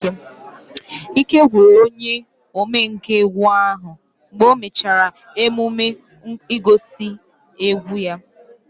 Ike gwụrụ onye omenkà egwu ahu mgbe o mechara emume ngosi egwu ya